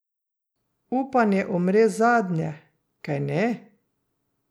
Upanje umre zadnje, kajne?